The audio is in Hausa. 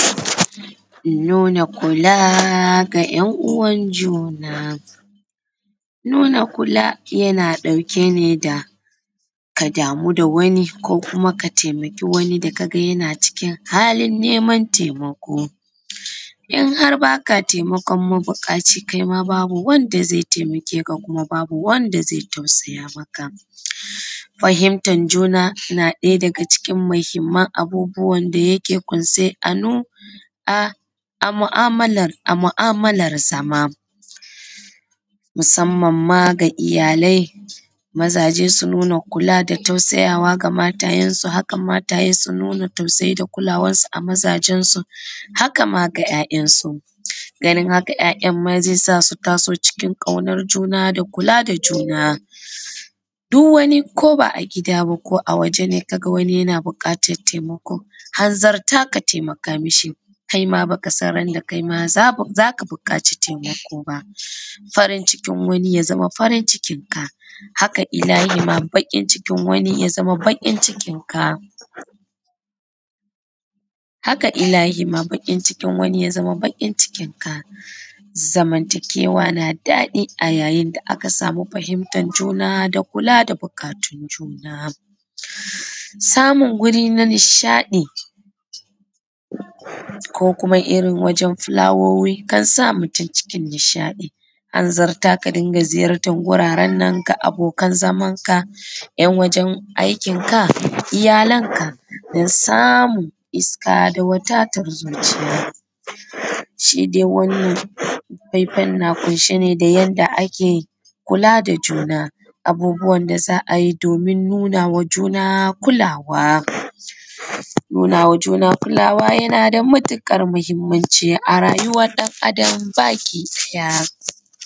Nuna kula ga 'yan uwan juna. Nuna kula yana ɗauke ne da ka damu da wani ko kuma ka taimaki wani da ka ga yana cikin halin neman taimako. In har ba ka taimakon mabuƙaci kai ma babu wanda zai taimake ka. Kuma babu wanda zai tausaya maka. Fahimtar juna na ɗaya daga cikin muhimman abubuwan da yake ƙunshe a mu'amalarsa ma musamman ma ga iyalai mazaje, su nuna kula da tausayawa ga matayensu, haka matayensu su nuna tausayi da kulawansu a mazajensu, haka ma ga'ya’yansu. Ganin haka 'ya'yan ma zai sa su taso cikin ƙaunan juna, kula da juna, duk wani ko ba a gida bane ko a waje ne ka ga wani yana buƙatan taimako, hanzarta ka taimaka ma shi kaima baka san randa kai ma za ka buƙaci taimako ba. Farin cikin wani ya zama farin cikin ka, haka ilahima baƙin cikin wani ya zama baƙin cikin ka. Zamantakewa na daɗi a yayin da aka samu fahimtar juna da kula da buƙatun juna. Samun wuri na nishaɗi ko kuma irin wajan fulawowi kan sa mutum cikin nishaɗi. Hanzarta ka dinga ziyartan wuraren nan ga abokan zamanka, 'yan wajan aikinka, iyalanka, don samun iska da wadatar zuciya. Shi dai wannan faifai na ƙunshe ne da yanda ake kula da juna, abubuwan da za a yi domin nuna wa juna kulawa, nuna wa juna kulawa yana da matuƙar muhimmanci a rayuwan ɗan Adam baki ɗaya.